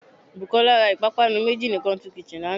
Bùkólá ra ìpápánu méjì ní "country kitchen" lánàá